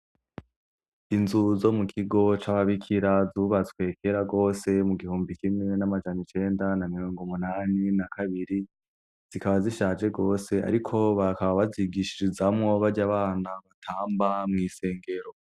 Inzu zo mu kigo c'ababikira zubatswe kera gose, mu gihumbi kimwe n'amajana icenda na mirongo umunani na kabiri, zikaba zishaje gose ariko bakaba bazigishirizamwo barya bana batamba mw'isengero.